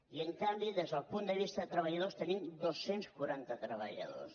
i en canvi des del punt de vista de treballadors tenim dos cents i quaranta treballadors